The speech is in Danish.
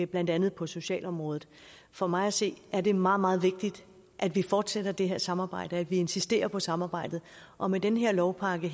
blandt andet på socialområdet for mig at se er det meget meget vigtigt at vi fortsætter det her samarbejde at vi insisterer på samarbejdet og med den her lovpakke